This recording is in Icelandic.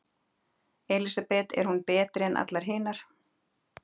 Elísabet: Er hún betri en allar hinar?